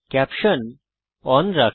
caption শিরোনামা কে on রাখি